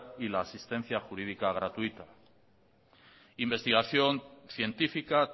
y la asistencia jurídica gratuita investigación científica